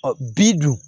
Ɔ bi dun